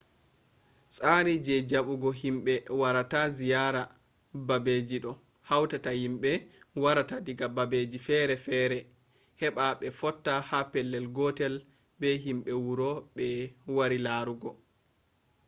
tsari je jaɓɓugo himɓe warata ziyara babeji ɗo hauta himɓe warata diga babeji fere fere heɓa ɓe fotta ha pellel gotel be himɓe wuro ɓe wari larugo